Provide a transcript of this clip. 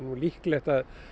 líklegt að